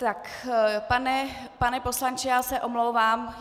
Tak pane poslanče, já se omlouvám.